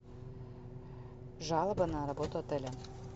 жалоба на работу отеля